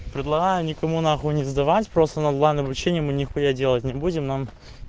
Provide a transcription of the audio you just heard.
предлагаю никому нахуй не сдавать просто на главном вручении мы нехуя делать не будем нам